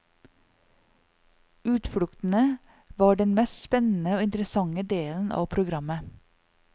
Utfluktene var den mest spennende og interessante delen av programmet.